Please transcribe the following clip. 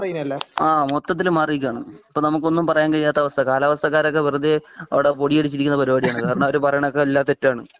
ഹാ മൊത്തത്തിൽ മാറിയിരിക്കുകയാണ് ഇപ്പം നമുക്ക് ഒന്നും പറയാൻ പറ്റാത്ത അവസ്ഥ കാലാവസ്ഥക്കാരൊക്കെ വെറുതെ അവിടെ പൊടിപിടിച്ചിരിക്കുന്ന പരിപാടിയാണ് കാരണം അവർ പറയണത് ഒക്കെ എല്ലാം തെറ്റാണ്